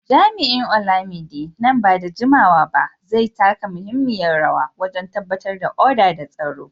Jami’in Olamide, nan ba da jimawa ba zai taka muhimmiyar rawa wajen tabbatar da oda da tsaro.